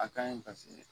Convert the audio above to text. A kaɲi paseke